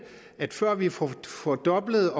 at før vi får fordoblet